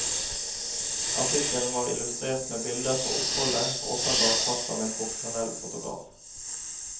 Artikkelen var illustrert med bilder fra oppholdet, åpenbart tatt av en profesjonell fotograf.